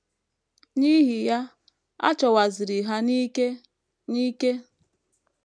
N’ihi ya, a chọwaziri Ha n’ike n’ike.